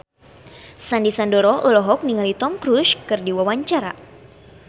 Sandy Sandoro olohok ningali Tom Cruise keur diwawancara